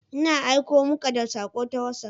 Ina aiko muka da sako ta WhatsApp.